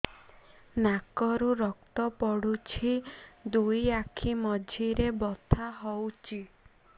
ନାକରୁ ରକ୍ତ ପଡୁଛି ଦୁଇ ଆଖି ମଝିରେ ବଥା ହଉଚି